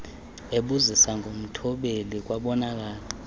ebuzisa ngomthobeli kwabonakala